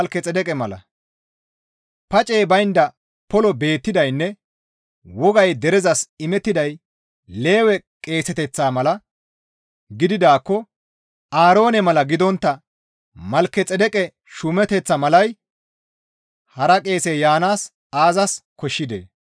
Pacey baynda poloy beettidaynne wogay derezas imettiday Lewe qeeseteththaa mala gididaakko Aaroone mala gidontta Malkexeedeqe shuumeteththaa malay hara qeesey yaanaas aazas koshshidee?